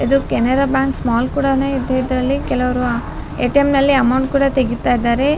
ಇದು Canara bank small ಕೂಡನೇ ಇದೆ ಇದ್ರಲ್ಲಿ ಕೆಲವ್ರು ಆಹ್ಹ್ ಎ.ಟಿ.ಎಂ ನಲ್ಲಿ ಅಮೌಂಟ್ ಕೂಡ ತೆಗೀತಾ ಇದ್ದಾರೆ.